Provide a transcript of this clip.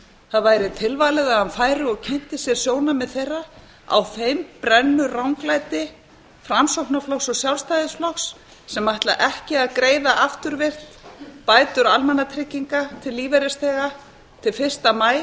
það væri tilvalið að hann færi og kynnti sér sjónarmið þeirra á þeim brennur ranglæti framsóknarflokks og sjálfstæðisflokks sem ætla ekki að greiða afturvirkt bætur almannatrygginga til lífeyrisþega frá fyrsta maí